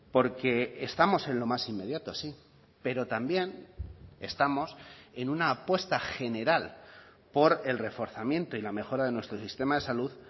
porque estamos en lo más inmediato sí pero también estamos en una apuesta general por el reforzamiento y la mejora de nuestro sistema de salud